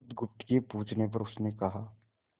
बुधगुप्त के पूछने पर उसने कहा